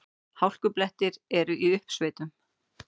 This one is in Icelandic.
Hálkublettir eru í uppsveitum